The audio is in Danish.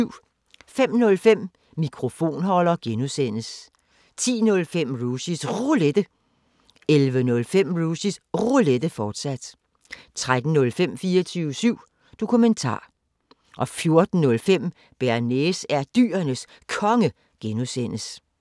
05:05: Mikrofonholder (G) 10:05: Rushys Roulette 11:05: Rushys Roulette, fortsat 13:05: 24syv Dokumentar 14:05: Bearnaise er Dyrenes Konge (G)